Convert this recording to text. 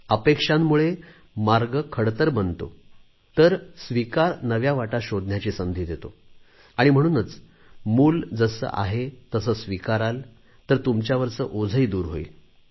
अपेक्षांमुळे मार्ग खडतर बनतो तर स्वीकार नव्या वाटा शोधण्याची संधी देतो आणि म्हणूनच मूल जसे आहे तसे स्वीकाराल तुमच्यावरचे ओझेही दूर होईल